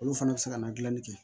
Olu fana bɛ se ka na dilanni kɛ